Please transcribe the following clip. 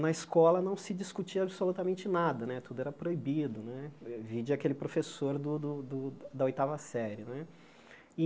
na escola não se discutia absolutamente nada né, tudo era proibido né, vide aquele professor do do do da oitava série né.